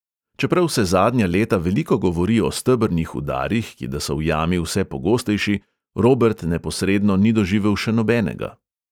Čeprav se zadnja leta veliko govori o stebrnih udarih, ki da so v jami vse pogostejši, robert neposredno ni doživel še nobenega.